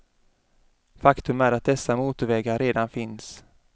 Faktum är att dessa motorvägar redan finns.